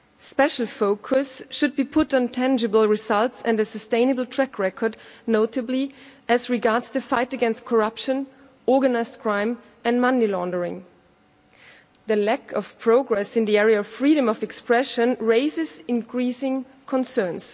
Special focus should be put on tangible results and a sustainable track record, notably as regards the fight against corruption, organised crime and money laundering. The lack of progress in the area of freedom of expression raises increasing concerns.